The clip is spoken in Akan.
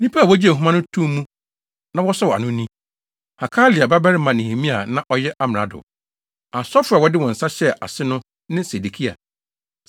Nnipa a wogyee nhoma no too mu na wɔsɔw ano no ni: Hakalia babarima Nehemia a na ɔyɛ amrado. Asɔfo a wɔde wɔn nsa hyɛɛ ase no ne Sedekia,